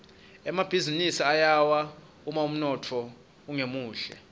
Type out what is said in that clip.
emabhizinisi ayawa uma umnotfo ungemuhle